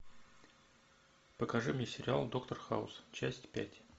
покажи мне сериал доктор хаус часть пять